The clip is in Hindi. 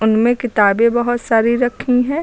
इनमें किताबें बहोत सारी रखी है।